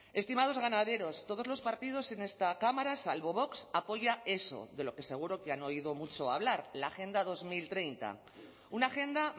estimados ganaderos todos los partidos en esta cámara salvo vox apoya eso de lo que seguro que han oído mucho hablar la agenda dos mil treinta una agenda